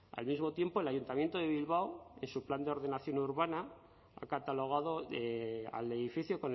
al mismo tiempo el ayuntamiento de bilbao en su plan de ordenación urbana ha catalogado al edificio